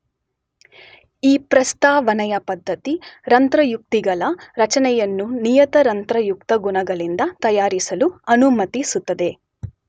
ಈ ಪ್ರಸ್ತಾವನೆಯ ಪದ್ಧತಿ ರಂಧ್ರಯುಕ್ತಿಗಳ ರಚನೆಯನ್ನು ನಿಯತ ರಂಧ್ರಯುಕ್ತಗುಣಗಳಿಂದ ತಯಾರಿಸಲು ಅನುಮತಿಸುತ್ತದೆ